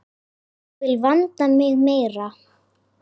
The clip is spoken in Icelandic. Ég vil vanda mig meira.